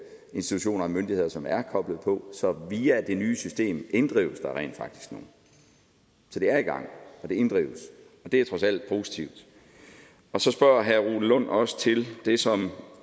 institutioner og myndigheder som er koblet på så via det nye system inddrives der rent faktisk nu så det er i gang og det inddrives det er trods alt positivt så spørger herre rune lund også til det som